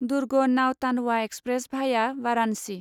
दुर्ग Nautanwa express भाया वारानसि